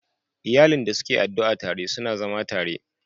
Iyalin da suke addu'a tare, suna zama tare